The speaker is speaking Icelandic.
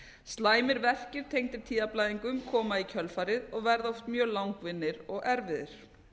slæmir verkir tengdir tíðablæðingum koma í kjölfarið og verða oft mjög langvinnir og erfiðir